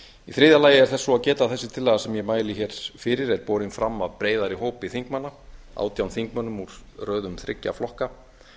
í þriðja lagi er svo að geta að þessi tillaga sem ég mæli hér fyrir er borin fram af breiðari hópi þingmanna átján þingmönnum úr röðum þriggja flokka